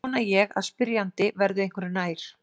Vona ég að spyrjandi verði einhverju nær.